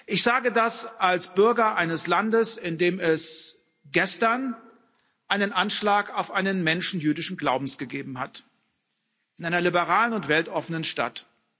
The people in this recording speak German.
Ich sage das als Bürger eines Landes, in dem es gestern einen Anschlag auf einen Menschen jüdischen Glaubens gegeben hat in einer liberalen und weltoffenen Stadt.